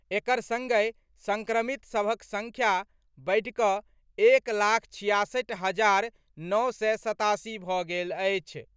एकर संगहि संक्रमित सभक संख्या बढ़कर एक लाख छियासठि हजार नओ सय सतासी भऽ गेल अछि।